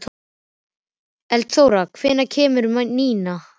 Eldþóra, hvenær kemur nían?